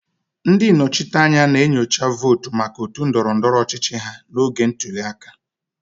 Ndị nnọchiteanya na-enyocha votu maka otu ndọrọ ndọrọ ọchịchị ha n'oge ntuli aka.